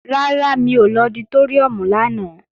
Rárá, mi ò lọ sí ọditóríùm lánàá